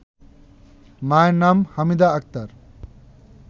মায়ের নাম হামিদা আক্তার